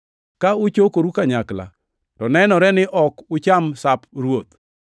Ka uchokoru kanyakla, to nenore ni ok ucham Sap Ruoth;